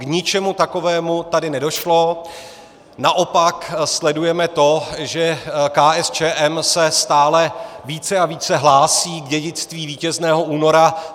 K ničemu takovému tady nedošlo, naopak sledujeme to, že KSČM se stále více a více hlásí k dědictví Vítězného února.